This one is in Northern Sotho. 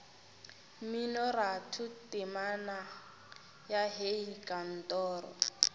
mminoratho temana ya hei kantoro